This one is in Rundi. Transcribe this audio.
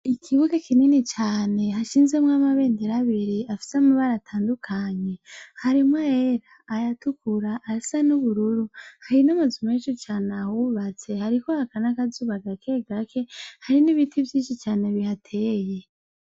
Ikibuga kinini cane hashinzemwo amabendera abiri afisemwo amabara atandukanye harimwo ayera ayatukura ayasa nubururu hari namazu menshi cane ahubatse hariko haka nakazuba gake gake hari nibiti vyinshi cane bihateye